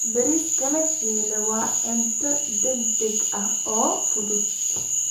Bariiska la shiilay waa cunto degdeg ah oo fudud.